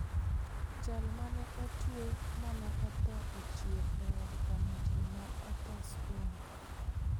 Jal mane otue mane otho ochier e od kano ji ma otho spain.